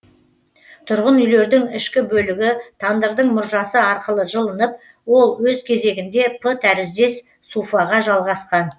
тұрғын үйлердің ішкі бөлігі тандырдың мұржасы арқылы жылынып ол өз кезегінде п тәріздес суфаға жалғасқан